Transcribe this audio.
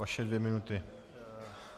Vaše dvě minuty.